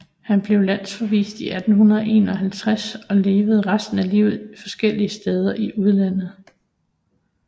Han blev landsforvist i 1851 og levede resten af livet forskellige steder i udlandet